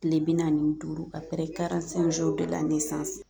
Tile bi naani ni duuru a bɛɛ la ne